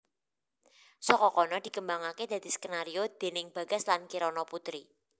Saka kono dikembangake dadi skenario déning Bagas lan Kirana Putri